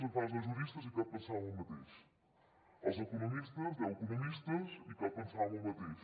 agafaràs deu juristes i cap pensarà el mateix els economistes deu economistes i cap pensarà el mateix